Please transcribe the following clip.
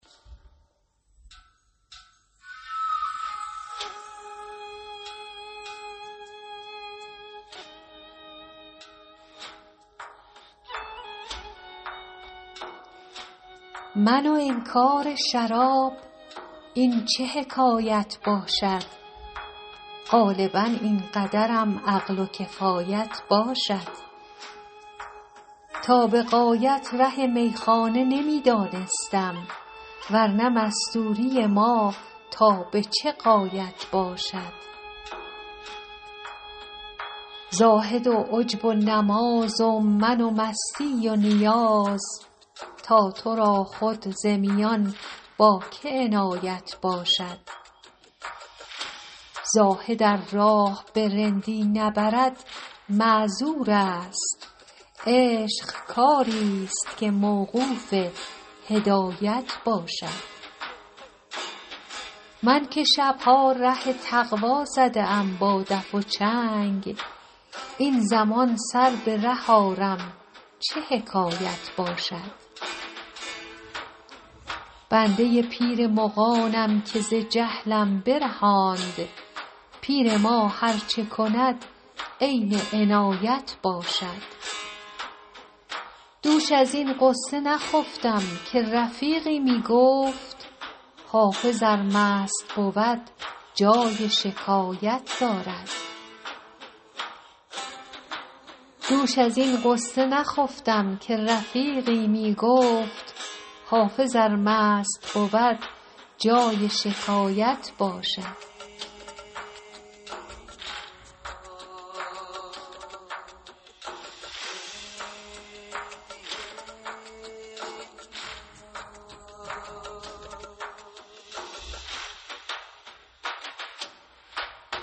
من و انکار شراب این چه حکایت باشد غالبا این قدرم عقل و کفایت باشد تا به غایت ره میخانه نمی دانستم ور نه مستوری ما تا به چه غایت باشد زاهد و عجب و نماز و من و مستی و نیاز تا تو را خود ز میان با که عنایت باشد زاهد ار راه به رندی نبرد معذور است عشق کاری ست که موقوف هدایت باشد من که شب ها ره تقوا زده ام با دف و چنگ این زمان سر به ره آرم چه حکایت باشد بنده پیر مغانم که ز جهلم برهاند پیر ما هر چه کند عین عنایت باشد دوش از این غصه نخفتم که رفیقی می گفت حافظ ار مست بود جای شکایت باشد